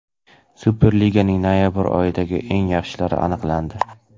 Superliganing noyabr oyidagi eng yaxshilari aniqlandi.